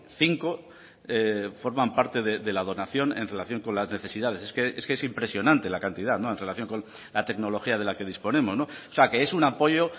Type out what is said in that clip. cinco forman parte de la donación en relación con las necesidades es que es impresionante la cantidad en relación con la tecnología de la que disponemos o sea que es un apoyo